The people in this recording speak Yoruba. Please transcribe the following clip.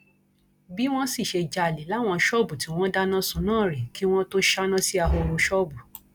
bí wọn sì ṣe jalè láwọn ṣọọbù tí wọn dáná sun náà rèé kí wọn tóó ṣáná sí ahoro ṣọọbù